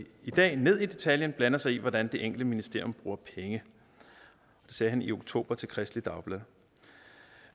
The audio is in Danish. dag ned i detaljen blander sig i hvordan det enkelte ministerium bruger penge det sagde han i oktober til kristeligt dagblad